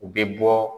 U bɛ bɔ